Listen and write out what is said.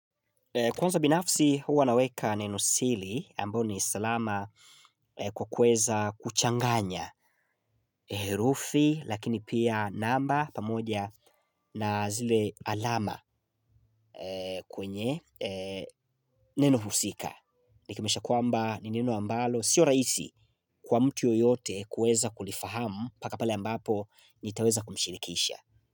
Kwanza binafsi huwa naweka neno siri ambao ni salama kwa kuweza kuchanganya herufi lakini pia namba pamoja na zile alama kwenye neno husika. Nikimaanisha kwamba ni neno ambalo sio rahisi kwa mtu yoyote kuweza kulifahamu mpaka pale ambapo nitaweza kumshirikisha.